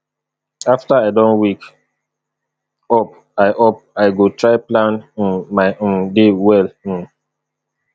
after i don wake up i up i go try plan um my um day well um